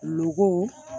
Loko